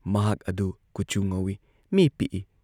ꯃꯍꯥꯛ ꯑꯗꯨ ꯀꯨꯆꯨ ꯉꯧꯏ, ꯃꯤ ꯄꯤꯛꯏ ꯫